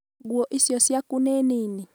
nguo icio ciaku nĩ nĩnĩ?